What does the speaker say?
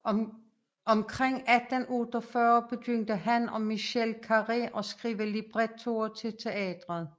Omkring 1848 begyndte han og Michel Carré at skrive librettoer til teatret